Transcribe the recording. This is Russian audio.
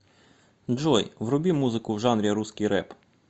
джой вруби музыку в жанре русский рэп